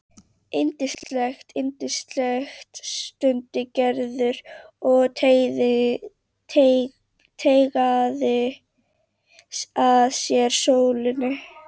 Yndislegt, yndislegt stundi Gerður og teygaði að sér sólina.